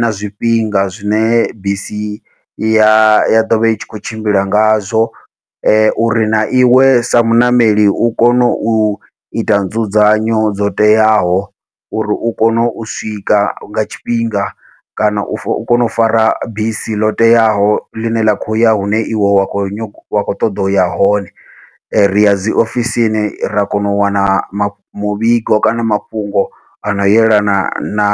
na zwifhinga zwine bisi ya ya ḓovha itshi kho tshimbila ngazwo, uri na iwe sa muṋameli u kono uita dzudzanyo dzo teaho uri u kone u swika nga tshifhinga kana u kone u fara bisi ḽo teaho ḽine ḽa khou ya hune iwe wa khou wa kho ṱoḓa uya hone. Riya dzi ofisini ra kona u wana muvhigo kana mafhungo ano yelana na